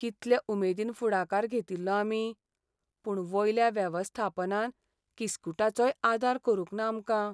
कितले उमेदीन फुडाकार घेतिल्लो आमी, पूण वयल्या वेवस्थापनान किस्कुटाचोय आदार करूंक ना आमकां.